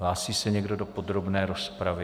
Hlásí se někdo do podrobné rozpravy?